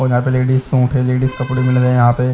और ladies shop है ladies कपड़ो में लगाये यहाँ पे--